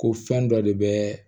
Ko fɛn dɔ de bɛ